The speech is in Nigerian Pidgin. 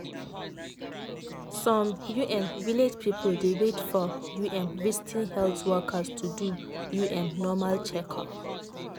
some um village people dey wait for um visiting health workers to do um normal checkup.